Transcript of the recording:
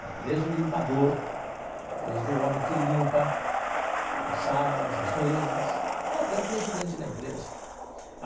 Vai desde o limpador, desde o homem que limpa as salas, as mesas, até o presidente da empresa.